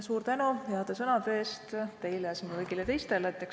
Suur tänu heade sõnade eest teile ja kõigile teistele!